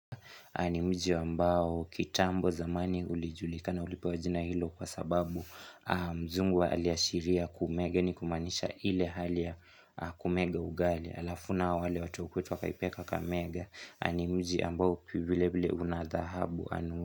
Na ni mji ambao kitambo zamani ulijulikana ulipewa jina hilo kwa sababu mzungu aliashiria kumega ni kumanisha ile hali ya kumega ugali. Alafu nao wale watu wa kwetu wakaipee kakamega ni mji ambao vile vile una dhahabu anu.